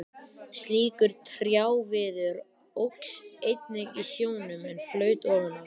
Slíkur trjáviður óx einnig í sjónum, en flaut ofan á.